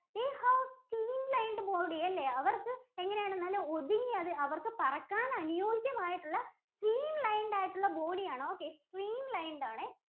they have stream lined body. അവർക്ക് എങ്ങനെയാണ് നല്ല ഒതുങ്ങിയ അതായത് അവർക്ക് പറക്കാൻ അനുയോജ്യമായിട്ടുള്ള stream lined ആയിട്ടുള്ള body ആണ്. okay streamed lined ആണേ.